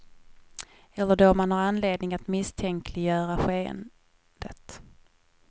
Eller då man har anledning att misstänkliggöra skeendet.